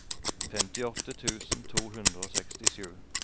femtiåtte tusen to hundre og sekstisju